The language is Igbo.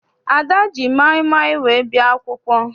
Ada ji maịmaị wee bịa akwụkwọ.